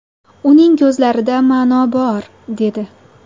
Uning ko‘zlarida ma’no bor”, dedi.